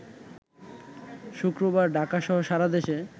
শুক্রবার ঢাকাসহ সারাদেশে